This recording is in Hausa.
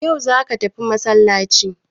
Ya'u za ka tafi masallaci!